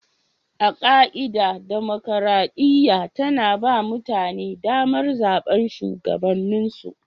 A ka'ida, dimokuradiyya tana ba mutane damar zabar shugabanninsu.